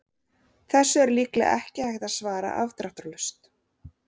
Þessu er líklega ekki hægt að svara afdráttarlaust.